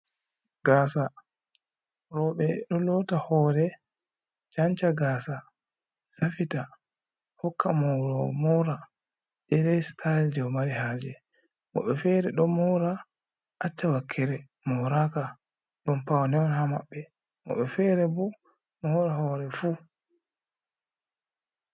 Gasa. Roɓe ɗo lota hore canca gasa safita hokka morowo mora day day sitayel je o mari haje. Woɗɓe fere ɗo mora acca wakkere moraka ɗum pawne on ha maɓɓe. Woɓɓe fere bo mora hore fu.